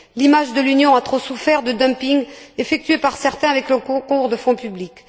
L'image de l'Union a trop souffert de dumpings effectués par certains avec le concours de fonds publics.